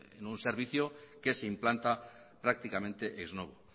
en un servicio que se implanta prácticamente ex novo